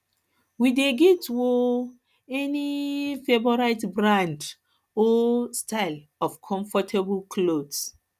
you dey get um any um favorite brand or um style of comfortable clothes